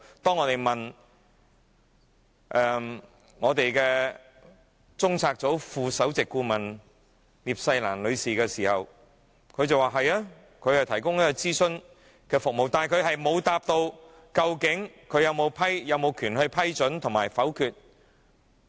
當我們就此詢問中策組副首席顧問聶世蘭女士時，聶世蘭女士表示，對的，高靜芝是提供諮詢服務，但聶世蘭女士沒有回答，高靜芝究竟有否權力批准和否決任命。